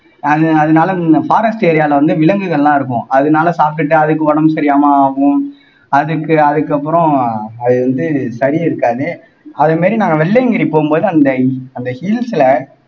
அது அதனால forest area ல வந்து விலங்குகள் எல்லாம் இருக்கும் அதனால சாப்பிட்டுட்டு அதுக்கு உடம்பு சரியில்லாம ஆகும் அதுக்கு அதுக்கப்புறம் அது வந்து சரி இருக்காது அதே மாறி நாங்க வெள்ளையங்கிரி போகும்போது அந்த அந்த hills ல